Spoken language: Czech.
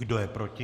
Kdo je proti?